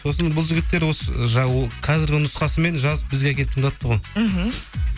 сосын бұл жігіттер осы қазіргі нұсқасымен жазып бізге әкеліп тыңдатты ғой мхм